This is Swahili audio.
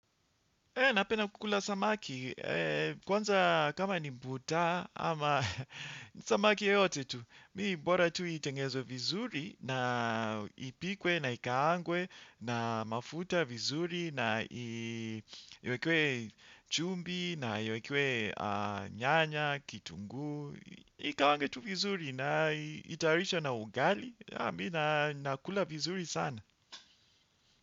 Napenda kukula samaki. Kwanza kama ni mbuta ama samaki yeyote tu. Mimi mbora tu itengezwe vizuri na ipikwe na ikaangwe na mafuta vizuri na iwekewe chumvi na iwekewe nyanya, kitunguu. Ikaangwe tu vizuri na itayarishwe na ugali. Mimi nakula vizuri sana.